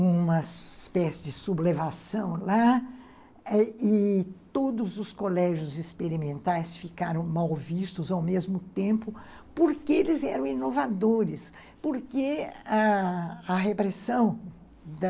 uma espécie de sublevação lá e todos os colégios experimentais ficaram mal vistos ao mesmo tempo, porque eles eram inovadores, porque ãh a repressão da...